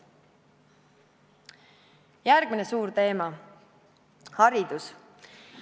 Järgmine suur teema: haridus.